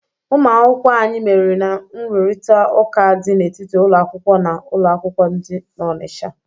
Ụmụ akwụkwọ anyị meriri na nrụrịtaụka dị n'etiti ụlọ akwụkwọ na ụlọ akwụkwọ dị n'Ọnịcha.